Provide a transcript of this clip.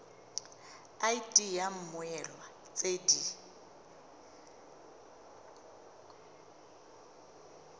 id ya mmoelwa tse di